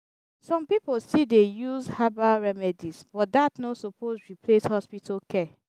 some pipo still dey use herbal remedies but dat no suppose replace hospital care.